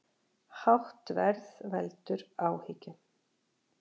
Hátt verð veldur áhyggjum